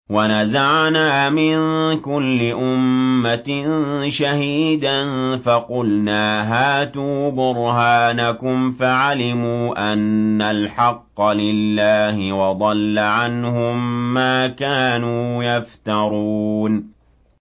وَنَزَعْنَا مِن كُلِّ أُمَّةٍ شَهِيدًا فَقُلْنَا هَاتُوا بُرْهَانَكُمْ فَعَلِمُوا أَنَّ الْحَقَّ لِلَّهِ وَضَلَّ عَنْهُم مَّا كَانُوا يَفْتَرُونَ